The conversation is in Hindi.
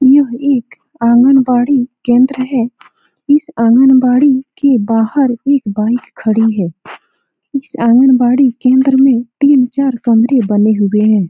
यह एक आंगनबाड़ी केंद्र है। इस आंगनबाड़ी के बाहर एक बाइक खड़ी है। इस आंगनबाड़ी केंद्र में तीन-चार कमरे बने हुए हैं।